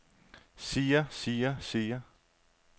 siger siger siger